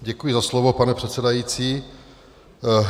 Děkuji za slovo, pane předsedající.